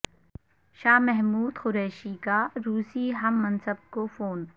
شاہ محمود قریشی کا روسی ہم منصب کو فون